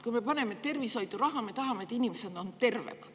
Kui me paneme raha tervishoidu, siis me tahame, et inimesed oleksid tervemad.